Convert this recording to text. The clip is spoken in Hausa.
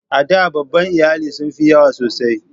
A da babban iyali sun fi yawa sosai.